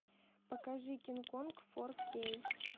покажи кинг конг фор кей